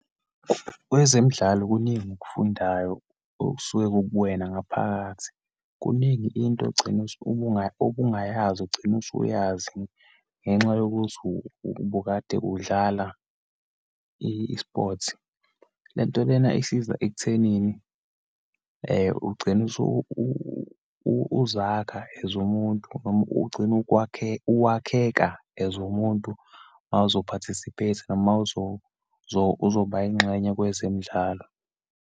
Kwezemidlalo kuningi okufundayo, okusuke kukuwena ngaphakathi. Kuningi into ogcina ubungayazi, ugcina usuyazi, ngenxa yokuthi ubukade udlala isiphothi. Lento lena isiza ekuthenini, ugcine uzakhe as umuntu, noma ugcine uwakheka as umuntu uma uzo-participate-a noma uzoba ingxenye kwezemidlalo.